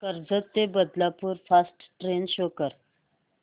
कर्जत ते Badlapur fast train show कर